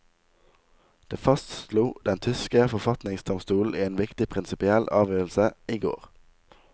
Det fastslo den tyske forfatningsdomstolen i en viktig prinsipiell avgjørelse i går.